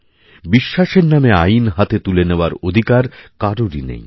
বিশ্বাসের নামে আইন হাতে তুলে নেওয়ার অধিকার কারোরই নেই